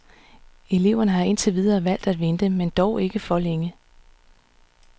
Eleverne har indtil videre valgt at vente, men dog ikke for længe.